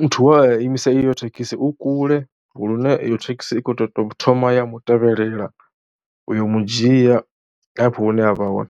muthu we a imisa iyo thekhisi u kule lune iyo thekhisi i khou tou thoma ya mu tevhelela u yo mu dzhia hafho hune a vha hone.